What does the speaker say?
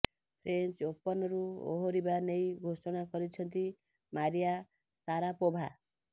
French ଓପନ୍ରୁ ଓହରିବା ନେଇ ଘୋଷଣା କରିଛନ୍ତି ମାରିଆ ସାରାପୋଭା